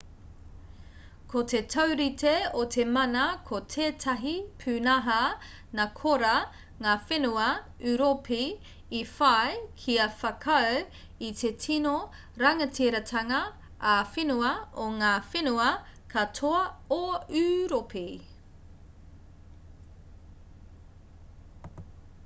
ko te taurite o te mana ko tētahi pūnaha nā korā ngā whenua ūropi i whai kia whakaū i te tino rangatiratanga ā-whenua o ngā whenua katoa o ūropi